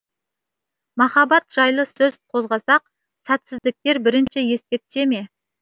махаббат жайлы сөз қозғасақ сәтсіздіктер бірінші еске түсеме